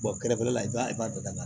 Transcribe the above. kɛrɛfɛla la i b'a dɔn